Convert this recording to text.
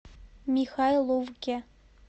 михайловке